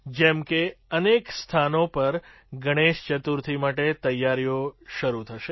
જેમ કે અનેક સ્થાનો પર ગણેશ ચતુર્થી માટે તૈયારીઓ શરૂ થશે